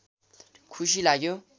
खुशी लाग्यो